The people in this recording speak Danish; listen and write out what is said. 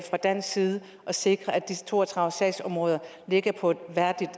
fra dansk side og sikre at de to og tredive sagsområder ligger på et